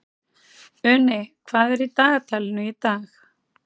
Uni, hvað er í dagatalinu í dag?